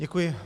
Děkuji.